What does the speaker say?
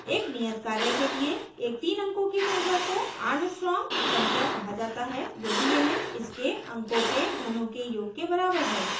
एक नियत कार्य के लिए एक तीन अंकों की संख्या को armstrong संख्या कहा जाता है यदि यह इसके अंकों के घनों के योग के बराबर है